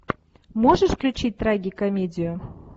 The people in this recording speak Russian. можешь включить трагикомедию